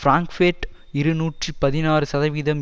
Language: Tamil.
பிராங்க்பேர்ட் இருநூற்றி பதினாறு சதவிகிதம்